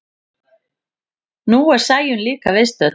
Nú er Sæunn líka viðstödd.